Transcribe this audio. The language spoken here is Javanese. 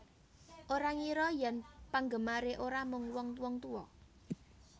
Ora ngira yen penggemare ora mung wong wong tuwa